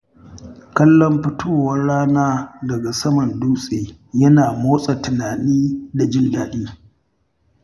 Kallon fitowar rana daga saman dutse yana motsa tunani da jin daɗi.